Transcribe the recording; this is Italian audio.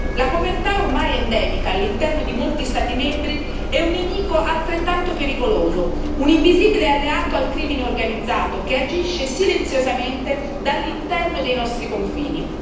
La povertà ormai è endemica all'interno di molti Stati membri è un nemico altrettanto pericoloso, un invisibile alleato del crimine organizzato che agisce silenziosamente dall'interno dei nostri confini.